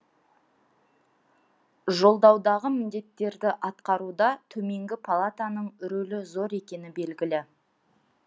жолдаудағы міндеттерді атқаруда төменгі палатаның рөлі зор екені белгілі